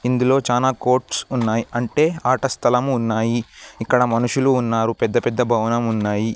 ఇందులో చానా కోర్ట్స్ ఉన్నాయ్ అంటే ఆట స్థలము ఉన్నాయి ఇక్కడ మనుషులు ఉన్నారు పెద్ద పెద్ద భవనం ఉన్నాయి.